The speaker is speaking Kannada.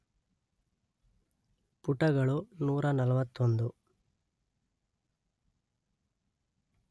ಪುಟಗಳು ನೂರ ನಲ್ವತ್ತೊಂದು